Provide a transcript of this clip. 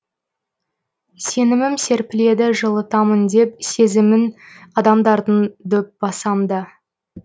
сенімім серпіледі жылытамын деп сезімін адамдардың дөп басам да